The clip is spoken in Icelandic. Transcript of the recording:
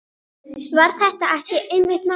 Var þetta ekki einmitt málið?